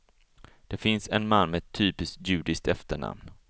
Det finns en man med ett typiskt judiskt efternamn.